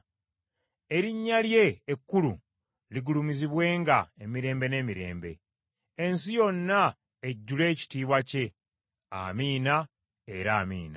Erinnya lye ekkulu ligulumizibwenga emirembe n’emirembe! Ensi yonna ejjule ekitiibwa kye. Amiina era Amiina!